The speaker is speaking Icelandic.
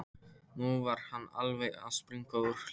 Nú var hann alveg að springa úr hlátri.